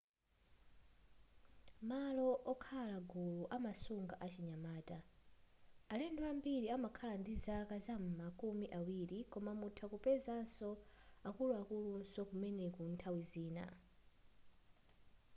malo okhala gulu amasunga achinyamata alendo ambili amakhala ndi zaka zam'ma kumi awiri koma mutha kupeza akuluakulunso kumeneku nthawi zina